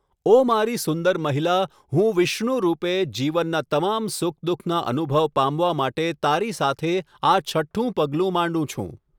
ઓ મારી સુંદર મહિલા, હું વિષ્ણુ રૂપે, જીવનના તમામ સુખ દુઃખના અનુભવ પામવા માટે તારી સાથે આ છઠ્ઠું પગલું માંડું છું.